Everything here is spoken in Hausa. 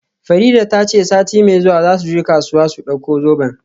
Farida ta ce sati mai zuwa za su je kasuwa su dauko zoben.